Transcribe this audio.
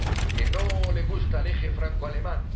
¿Que no le gusta al eje francoalemán?